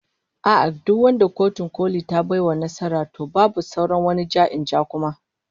A'a, duk wanda Kotun Koli ta bai wa nasara, to babu sauran wani ja-in-ja kuma